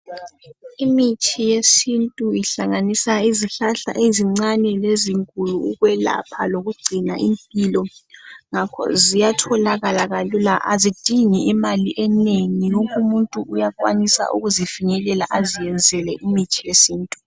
Imithi yesintu ihlanganisa izihlahla ezincane lezinkulu ukwelapha lokungcina impilo ngakho ziyatholakala kalula azidingi imali enengi wonke umuntu uyakwanisa ukuzifinyelela aziyenzele imithi yesintu.